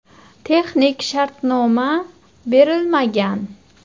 Texnik shartnoma berilmagan.